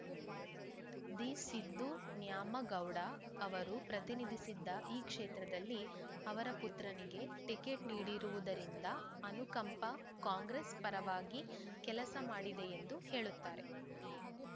the Siddu Nyamagouda ಅವರು ಪ್ರತಿನಿಧಿಸಿದ್ದ ಈ ಕ್ಷೇತ್ರದಲ್ಲಿ ಅವರ ಪುತ್ರನಿಗೆ ಟಿಕೆಟ್‌ ನೀಡಿರುವುದರಿಂದ ಅನುಕಂಪ ಕಾಂಗ್ರೆಸ್‌ ಪರವಾಗಿ ಕೆಲಸ ಮಾಡಿದೆ ಎಂದು ಹೇಳುತ್ತಾರೆ